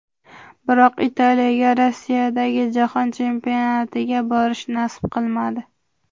Biroq Italiyaga Rossiyadagi Jahon Chempionatiga borish nasib qilmadi.